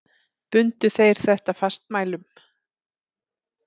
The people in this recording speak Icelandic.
Bundu þeir þetta fastmælum.